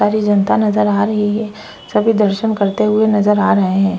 सारी जनता नज़र आ रहे है सभी दरसन करते हुए नज़र आ रहे है।